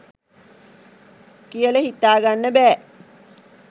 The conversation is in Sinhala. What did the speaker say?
කියල හිතා ගන්න බෑ